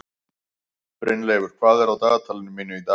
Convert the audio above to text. Brynleifur, hvað er á dagatalinu mínu í dag?